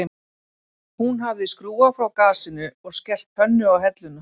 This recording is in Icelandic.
Hún hafði skrúfað frá gasinu og skellt pönnu á helluna